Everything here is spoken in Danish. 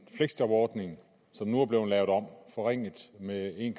fleksjobordning som nu er blevet lavet om forringet med en